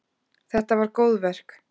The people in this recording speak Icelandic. Þetta var góðverk.